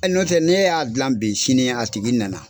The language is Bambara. Ɛ nɔtɛ ne y'a dilan bi sini a tigi nana.